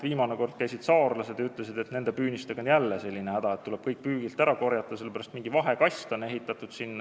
Viimati käisid siin saarlased ja ütlesid, et püünistega on jälle häda, tuleb kõik püügilt ära korjata, sest sinna on mingi vahekast ehitatud.